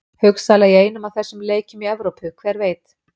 Hugsanlega í einum af þessum leikjum í Evrópu, hver veit?